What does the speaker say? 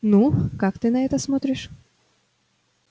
ну как ты на это смотришь